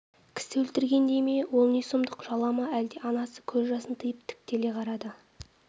кісі өлтірген дей ме ол не сұмдық жала ма әлде анасы көз жасын тиып тіктеле қарады